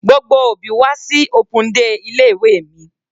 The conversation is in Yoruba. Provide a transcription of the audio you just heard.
Gbogbo òbí wá sí open day ilé ìwé mi.